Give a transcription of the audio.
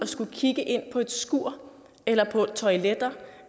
skal kigge ind på et skur eller toiletter